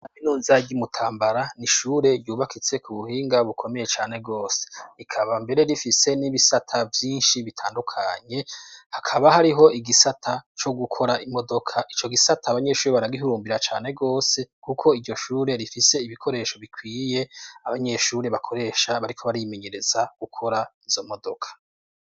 Kaminuza ry'i Mutambara n'ishure ryubakitse ku buhinga bukomeye cane gose, rikaba mbere rifise n'ibisata vyinshi bitandukanye hakaba hariho igisata co gukora imodoka, ico gisata abanyeshuri baragihurumbira cane gose kuko iryo shure rifise ibikoresho bikwiye abanyeshuri bakoresha bariko barimenyereza gukora izo modoka.